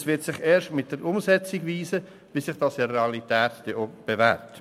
Es wird sich erst mit der Umsetzung zeigen, wie sich dies in der Realität bewährt.